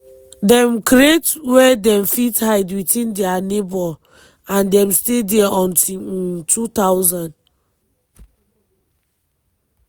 dem create wia dem fit hide within dia neighbour and dem stay dia until um 2000.